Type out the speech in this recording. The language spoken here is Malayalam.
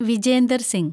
വിജേന്ദർ സിങ്